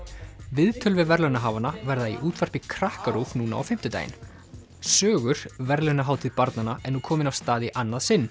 viðtöl við verðlaunahafana verða í útvarpi Krakkarúv núna á fimmtudaginn sögur verðlaunahátíð barnanna er nú komin af stað í annað sinn